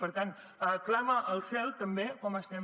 per tant clama al cel també com estem